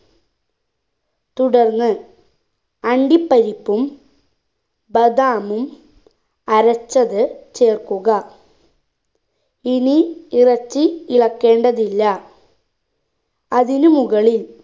തുടർന്ന് അണ്ടിപ്പരിപ്പും ബദാമും അരച്ചത് ചേർക്കുക ഇനി ഇറച്ചി ഇളക്കേണ്ടതില്ല അതിനു മുകളിൽ